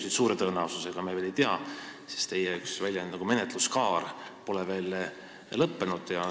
Seda suure tõenäosusega, täpselt me veel ei tea, sest kasutades teie väljendit, menetluskaar pole veel lõppenud.